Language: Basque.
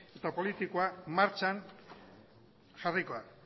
eta politikoa martxan jarriko da